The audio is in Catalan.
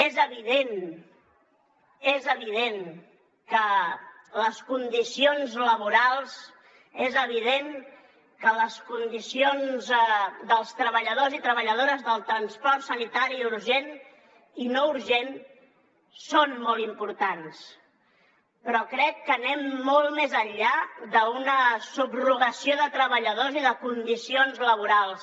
és evident és evident que les condicions laborals dels treballadors i treballadores del transport sanitari urgent i no urgent són molt importants però crec que anem molt més enllà d’una subrogació de treballadors i de condicions laborals